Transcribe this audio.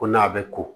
Ko n'a bɛ ko